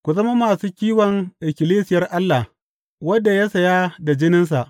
Ku zama masu kiwon ikkilisiyar Allah, wadda ya saya da jininsa.